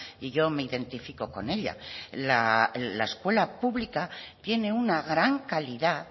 y yo me identifico con ella la escuela pública tiene una gran calidad